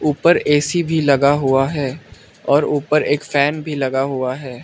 ऊपर ऐ_सी भी लगा हुआ है और ऊपर एक फैन भी लगा हुआ है।